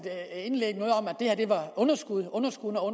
at det her var underskud underskud og